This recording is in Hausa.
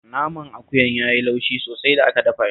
Naman akuyan ya yi laushi sosai da aka dafa shi